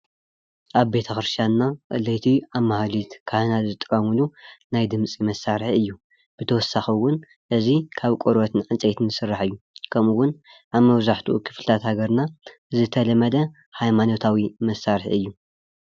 ኣብ ቤተ ክርስትያንና ለይቲ ኣብ ማህሌት ካህናትና ዝጥቀምሉ ናይ ድምፂ መሳርሒ እዩ፡፡ ብተወሳኪ እዉን እዚ ካብ ቆርበትን ዕንፀይትን ዝስራሕ እዩ፡፡ ከምኡ እውን ኣብ መብዛሕትኡ ክፍሊታት ሃገርና ዝተለመደ ሃይማኖታዊ መሳርሒ እዩ፡፡